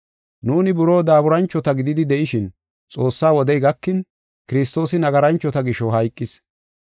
Nuuni buroo daaburanchota gididi de7ishin, Xoossaa wodey gakin, Kiristoosi nagaranchota gisho hayqis.